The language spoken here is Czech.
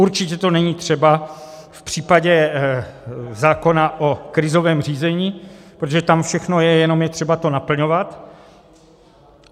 Určitě to není třeba v případě zákona o krizovém řízení, protože tam všechno je, jenom je třeba to naplňovat.